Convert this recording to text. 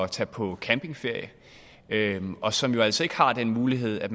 tage på campingferie og som jo altså ikke har den mulighed at